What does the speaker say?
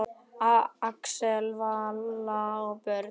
Axel, Vala og börn.